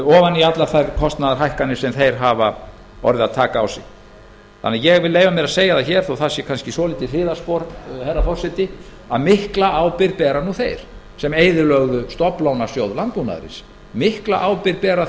ofan í allar þær kostnaðarhækkanir sem þeir hafa orðið að taka á sig þannig að ég vil leyfa mér að segja það hér þó það sé kannski svolítið hliðarspor herra forseti að mikla ábyrgð bera þeir sem eyðilögðu stofnlánasjóð landbúnaðarins mikla ábyrgð bera